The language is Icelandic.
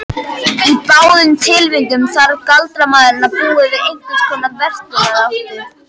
Í báðum tilvikum þarf galdramaðurinn að búa yfir einhverskonar verkkunnáttu.